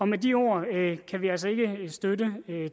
med de ord kan vi altså ikke støtte